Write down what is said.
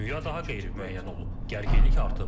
Dünya daha qeyri-müəyyən olub, gərginlik artıb.